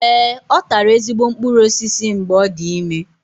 Ee, ọ tara ezigbo mkpụrụ osisi mgbe ọ dị ime.